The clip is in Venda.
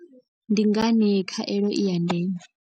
Ndi ngani khaelo i ya ndeme.